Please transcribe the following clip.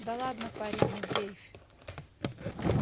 да ладно парень не дрейфь